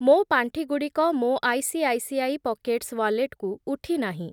ମୋ ପାଣ୍ଠିଗୁଡ଼ିକ ମୋ ଆଇସିଆଇସିଆଇ ପକେଟ୍ସ୍ ୱାଲେଟ୍‌କୁ ଉଠି ନାହିଁ।